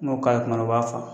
N'o k'a la kuma dɔw o b'a fa